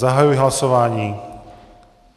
Zahajuji hlasování.